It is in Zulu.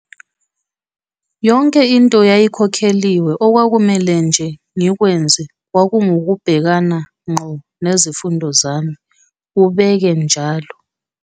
"Yonke into yayikhokheliwe, okwakumele nje ngikwenze kwakungukubhekana ngqo nezifundo zami," ubeke kanjalo.